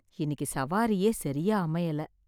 இன்னிக்கு சவாரியே சரியா அமையலே